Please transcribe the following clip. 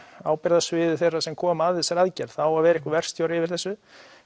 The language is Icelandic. ábyrgðarsviði þeirra sem koma að þessari aðgerð það á að vera einhver verkstjóri yfir þessu